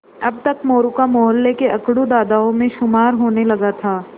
अब तक मोरू का मौहल्ले के अकड़ू दादाओं में शुमार होने लगा था